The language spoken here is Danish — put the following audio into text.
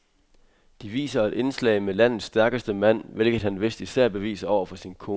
De viser et indslag med landets stærkeste mand, hvilket han vist især beviser over for sin kone.